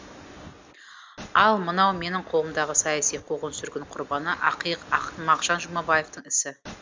ал мынау менің қолымдағы саяси қуғын сүргін құрбаны ақиық ақын мағжан жұмабаевтың ісі